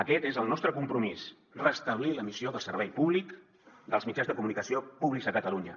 aquest és el nostre compromís restablir la missió de servei públic dels mitjans de comunicació públics a catalunya